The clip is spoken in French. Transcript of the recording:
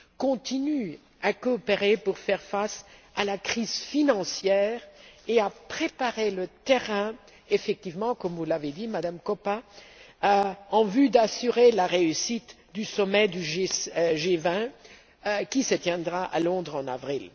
continuent à coopérer pour faire face à la crise financière et à préparer le terrain comme vous l'avez dit, Madame Koppa en vue d'assurer la réussite du sommet du G20, qui se tiendra à Londres en avril.